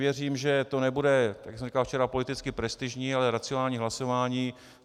Věřím, že to nebude, jak už jsem říkal včera, politicky prestižní, ale racionální hlasování.